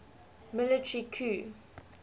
military coup